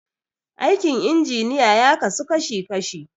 Aikin injiniya ya kasu kashi kashi.